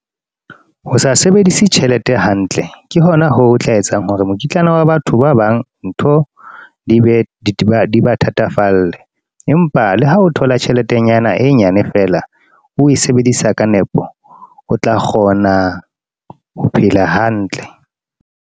Ho sa sebedise tjhelete hantle, ke hona ho tla etsang hore mokitlana wa batho ba bang, ntho di be ba thatafalle. Empa le ha o thola tjheletenyana e nyane fela, o sebedisa ka nepo. O tla kgona ho phela hantle.